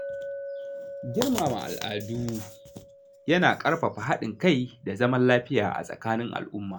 Girmama al’adu yana ƙarfafa haɗin kai da zaman lafiya a tsakanin al’umma.